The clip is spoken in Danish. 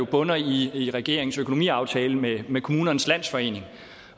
bunder i regeringens økonomiaftale med med kommunernes landsforening